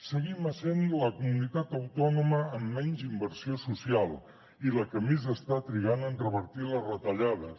seguim essent la comunitat autònoma amb menys inversió social i la que més està trigant en revertir les retallades